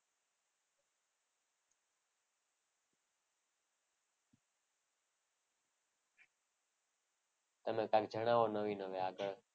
તમે કંઈક જણાવો નવી નવી આગળ.